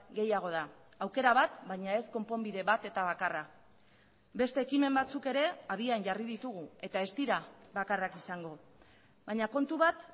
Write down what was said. gehiago da aukera bat baina ez konponbide bat eta bakarra beste ekimen batzuk ere abian jarri ditugu eta ez dira bakarrak izango baina kontu bat